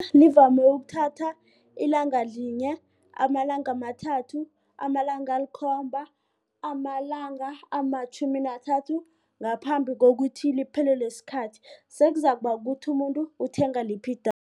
Livame ukuthatha ilanga linye, amalanga amathathu, amalanga alikhomba, amalanga amatjhumi nathathu ngaphambi kokuthi liphelelwe sikhathi sekuzaba ukuthi umuntu uthenga liphi